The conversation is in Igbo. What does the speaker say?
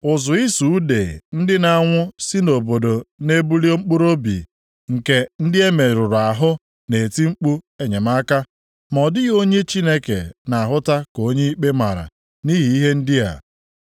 Ụzụ ịsụ ude ndị na-anwụ si nʼobodo na-ebili, mkpụrụobi nke ndị e merụrụ ahụ na-eti mkpu enyemaka. Ma ọ dịghị onye Chineke na-ahụta ka onye ikpe mara nʼihi ihe ndị a.